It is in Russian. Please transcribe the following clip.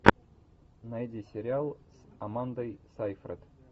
найди сериал с амандой сайфред